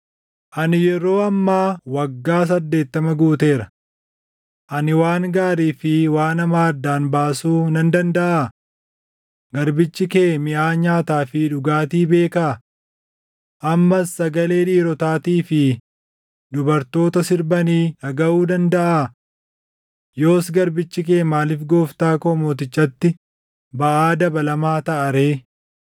Ani yeroo ammaa waggaa saddeettama guuteera. Ani waan gaarii fi waan hamaa addaan baasuu nan dandaʼaa? Garbichi kee miʼaa nyaataa fi dhugaatii beekaa? Ammas sagalee dhiirotaatii fi dubartoota sirbanii dhagaʼuu dandaʼaa? Yoos garbichi kee maaliif gooftaa koo mootichatti baʼaa dabalamaa taʼa ree?